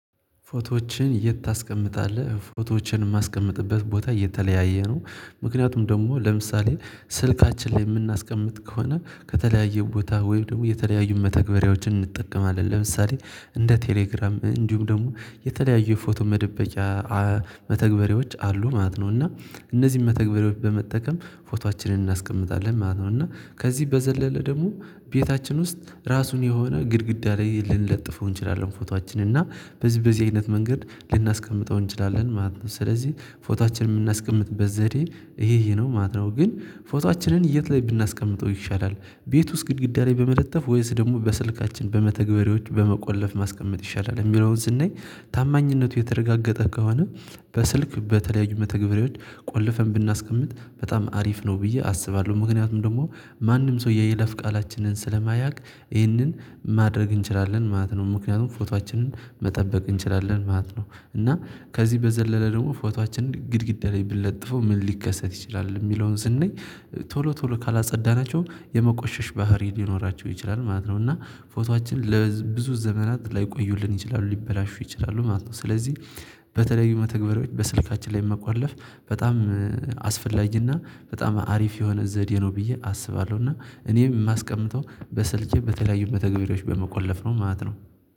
ፎቶዎችን የት? ታስቀምጣለህ ፎቶዎችን የማስቀምጥበት ቦታ የተለያየ ነው። ምክንያቱም ደግሞ ለምሳሌ ስልካችን ላይ የምናስቀምጥ ከሆነ ከተለያየ ቦታ ወይ ደግሞ የተለያዩ መተግበሪያዎችን እንጠቀማለን ለምሳሌ እንደ ቴሌግራም እንዲሁም ደግሞ የተለያዩ የፎቶ መደበቅያ መተግበሪዎች አሉ ማለት ነው። እና እነዚህን መተግበሬዎች በመጠቀም ፎቶአችንን እናስቀምጣለን ማለት ነው። እና ከዚህ በዘለለ ደግሞ ቤታችን ውስጥ ራሱን የሆነ ግድግዳ ላይ ልንለጥፈው እንችላለን ፎቶአችን እና በዚህ በዚህ አይነት መንገድ ልናስቀምጠው እንችላለን ማለት ነው። ስለዚህ ፎቶአችን የምናስቀምጥበት ዘዴ ይሄ ይሄ ነው ማለት ነው። ግን ፎቶአችንን የት ላይ ብናስቀምጠው ይሻላል ቤት ውስጥ ግድግዳ ላይ በመለጠፍ ወይስ ደግሞ በስልካችን በመተግበሬዎች በመቆለፍ ማስቀመጥ ይሻላል? የሚለውን ስናይ ታማኝነቱ የተረጋገጠ ከሆነ በስልክ በተለያዩ መተግበርያዎች ቆልፈን ብናስቀምጥ በጣም አሪፍ ነው ብዬ አስባለሁ ምክንያቱም ደግሞ ማንም ሰው የየለፍ ቃላችንን ስለማያውቅ ይህንን ማድረግ እንችላለን ማለት ነው። ምክንያቱም ፎቶአችንን መጠበቅ እንችላለን ማለት ነው። እና ከዚህ በዘለለ ደግሞ ፎቶአችን ግድግዳ ላይ ብለጥፈው ምን ሊከሰት ይችላል የሚለውን ስንይ ቶሎ ቶሎ ካላጸዳናቸው የመቆሸሽ ባህሪ ሊኖራቸው ይችላል ማለት ነው። እና ፎቶአችን ለብዙ ዘመናት ላይቆዩልን ይችላሉ ሊበላሹ ይችላሉ ማለት ነው። ስለዚህ በተለዩ መተግበሪያዎች በስልካችን ላይ መቆለፍ በጣም አስፈላጅና በጣም አሪፍ የሆነ ዘዴ ነው ብዬ አስባለሁ። እና እኔም የማስቀምጠው በሰልኬ በተለያዩ መተግበሪያዎች በመቆለፍ ነው ማለት ነው